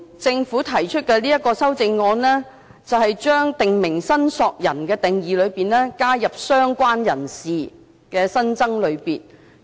政府提出的這項修正案在"訂明申索人"的定義中，加入"相關人士"的新增類別。